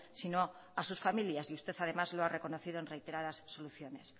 sino a sus familias y usted además lo ha reconocido en reiteradas soluciones